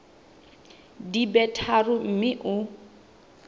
di be tharo mme o